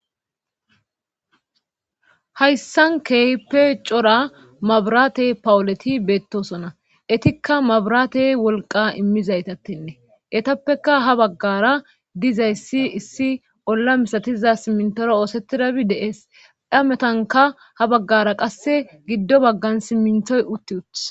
hayssankeehippe cora mabiraate pawuleti beettosona etikka mabiraate wolqa immizaytatene etappeka ha baggara dizayssi issi olla misatiza simmintoro oosetidabi deees dhametanka ha baggara qasse giddo baggan simminthoy utti uttis